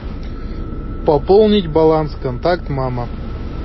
пополнить баланс контакт мама